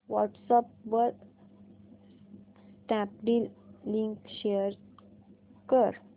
WhatsApp वर Snapdeal link share कर